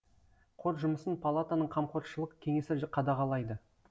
қор жұмысын палатаның қамқоршылық кеңесі қадағалайды